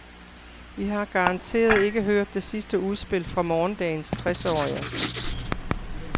Vi har garanteret ikke hørt det sidste udspil fra morgendagens tresårige.